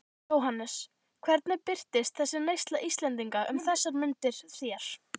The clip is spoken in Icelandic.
Jóhannes: Hvernig birtist þessi neysla Íslendinga um þessar mundir þér?